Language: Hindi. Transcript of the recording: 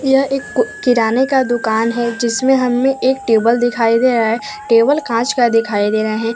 यह एक कु किराने का दुकान है जिसमें हमें एक टेबल दिखाई दे रहा है टेबल कांच का दिखाई दे रहे हैं।